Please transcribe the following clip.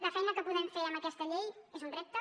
la feina que podem fer amb aquesta llei és un repte